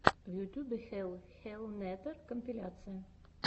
в ютюбе хелл хеллнетер компиляция